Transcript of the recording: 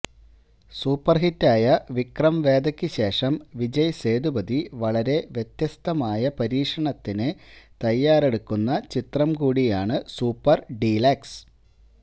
super ഹിറ്റായ വിക്രം വേദയ്ക്ക് ശേഷം വിജയ് സേതുപതി വളരെ വ്യത്യസ്തമായ പരീക്ഷണത്തിന് തയ്യാറെടുക്കുന്ന ചിത്രം കൂടിയാണ് സൂപ്പർ ഡിലക്സ്